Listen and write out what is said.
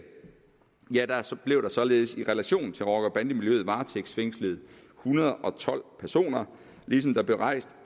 blev der således i relation til rocker bande miljøet varetægtsfængslet en hundrede og tolv personer ligesom der blev rejst